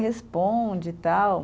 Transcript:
Responde, tal.